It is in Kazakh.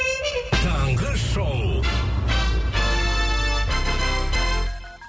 таңғы шоу